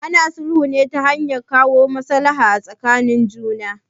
Ana sulhu ne ta hanyar kawo maslaha tsakanin juna.